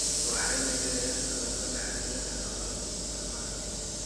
waxayna yareeyaan cudurrada la xiriira nafaqo-xumada.